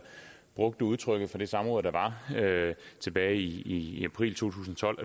brugte udtrykket fra det samråd der var tilbage i i april to tusind og tolv